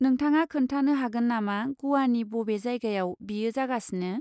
नोंथाङा खोन्थानो हागोन नामा ग'वानि बबे जायगायाव बेयो जागासिनो?